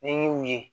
N'i y'u ye